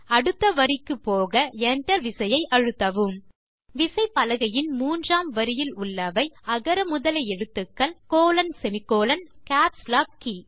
அடுத்த வரிக்கு போக Enter விசையை அழுத்தவும் விசைப்பலகையின் மூன்றாம் வரியில் உள்ளவை அகர முதல எழுத்துக்கள் colonசெமிகோலன் மற்றும் கேப்ஸ் லாக் கே